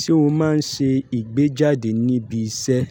Ṣé o máa ń ṣe ìgbéjáde níbi iṣẹ́?